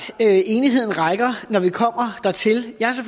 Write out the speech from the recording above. enigheden rækker når vi kommer dertil jeg